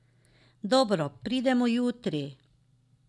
Dobro, pridemo jutri.